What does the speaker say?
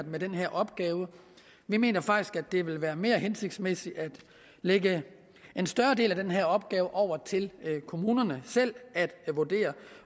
med den her opgave vi mener faktisk at det vil være mere hensigtsmæssigt at lægge en større del af den her opgave over til kommunerne selv